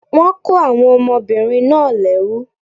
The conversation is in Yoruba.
Wọ́n kó àwọn ọmọbìnrin náà lẹ́rú